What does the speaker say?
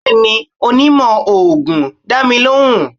bẹẹni, onímó oogun da mi lohún.